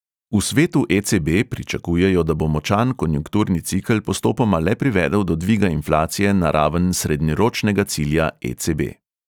V svetu e|ce|be pričakujejo, da bo močan konjunkturni cikel postopoma le privedel do dviga inflacije na raven srednjeročnega cilja e|ce|be.